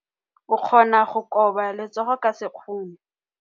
O ka kgona go koba letsogo ka sekgono.